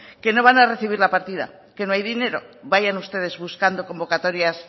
que no van a recibir la partida que no hay dinero vayan ustedes buscando convocatorias